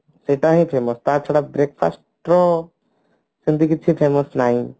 ସେଟା ହଉଛି ନା ତ ଛଡା breakfast ତ ସେମିତି କିଛି famous ନାଇଁ